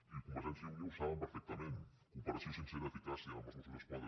i a convergència i unió ho saben perfectament cooperació sincera eficàcia amb els mossos d’esquadra